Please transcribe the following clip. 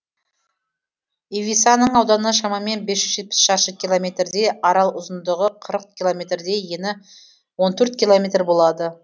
ивисаның ауданы шамамен бес жүз жетпіс шаршы километрдей арал ұзындығы қырық километрдей ені он төрт километр болады